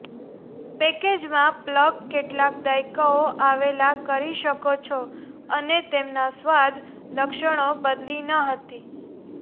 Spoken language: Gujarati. પેકેજમાં પ્લગ કેટલાક દાયકાઓ આવેલા કરી શકો છો અને તેમના સ્વાદ લક્ષણો બદલી ન હતી